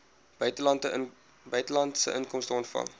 buitelandse inkomste ontvang